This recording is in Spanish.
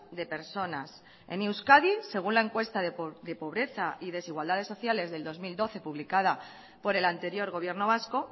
de personas en euskadi según la encuesta de pobreza y desigualdades sociales del dos mil doce publicada por el anterior gobierno vasco